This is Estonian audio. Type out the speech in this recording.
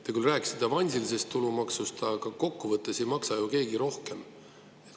Te küll rääkisite avansilisest tulumaksust, aga kokkuvõttes ei maksa ju keegi rohkem.